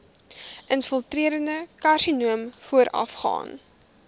infiltrerende karsinoom voorafgaan